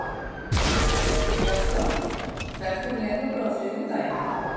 Gaston, ferð þú með okkur á þriðjudaginn?